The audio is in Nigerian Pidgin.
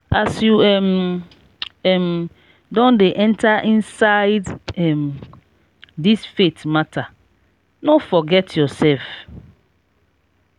as you um um don dey enta inside um dis faith mata no forget yoursef.